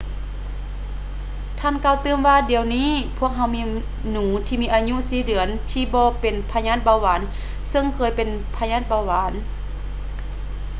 ທ່ານກ່າວຕື່ມວ່າ ດຽວນີ້ ພວກເຮົາມີໜູທີ່ມີອາຍຸ 4 ເດືອນທີ່ບໍ່ເປັນພະຍາດເບົາຫວານ ຊຶ່ງເຄີຍເປັນພະຍາດເບົາຫວານ